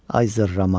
Ay zırrama.